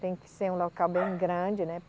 Tem que ser um local bem grande, né?